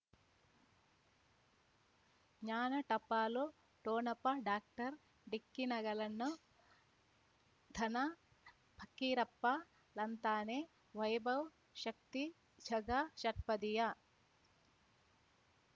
ಜ್ಞಾನ ಟಪಾಲು ಠೋಣಪ ಡಾಕ್ಟರ್ ಢಿಕ್ಕಿ ಣಗಳನು ಧನ ಫಕೀರಪ್ಪ ಳಂತಾನೆ ವೈಭವ್ ಶಕ್ತಿ ಝಗಾ ಷಟ್ಪದಿಯ